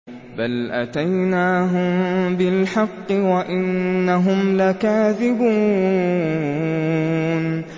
بَلْ أَتَيْنَاهُم بِالْحَقِّ وَإِنَّهُمْ لَكَاذِبُونَ